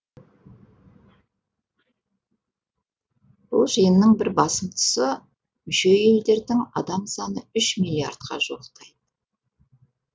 бұл жиынның бір басым тұсы мүше елдердің адам саны үш миллиард қа жуықтайды